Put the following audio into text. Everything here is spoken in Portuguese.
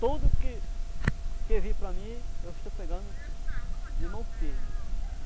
Tudo que vir para mim, eu estou pegando de mão firme.